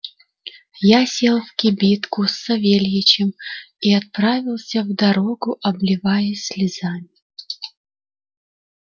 я сел в кибитку с савельичем и отправился в дорогу обливаясь слезами